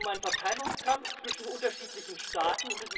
Es geht um einen Verteilungskampf zwischen unterschiedlichen Staaten.